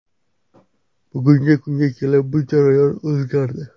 Bugungi kunga kelib bu jarayon o‘zgardi.